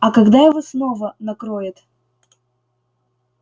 а когда его снова накроет